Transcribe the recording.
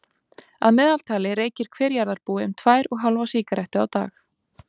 að meðaltali reykir hver jarðarbúi um tvær og hálfa sígarettu á dag